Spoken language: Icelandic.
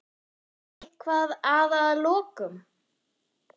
Eitthvað að að lokum?